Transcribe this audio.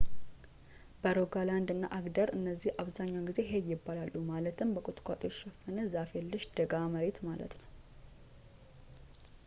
በሮጋላንድ እና አግደር እነዚህ አብዛኛውን ጊዜ ሄይ ይባላሉ ማለትም በቁጥቋጦ የተሸፈነ ዛፍ የለሽ ደጋ መሬት ማለት ነው